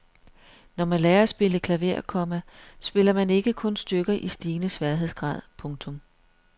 Når man lærer at spille klaver, komma spiller man ikke kun stykker i stigende sværhedsgrad. punktum